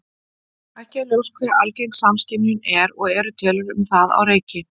Ekki er ljóst hve algeng samskynjun er og eru tölur um það á reiki.